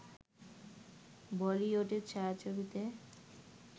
বলিউডের ছায়াছবিতে